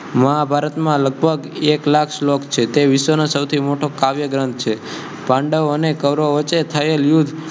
મહાભારત મા લગ્ભગ ઍક્લાખ સ્લોક્ક છે તે વિશ્વ નો સૌથિ મોટૉ કાવ્યૅ ગ્રથ છે. પાડૅવ અને કૌરવો વચે થયેલુ